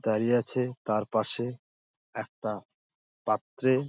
দাঁড়িয়ে আছে তার পাশে একটা পাত্রে--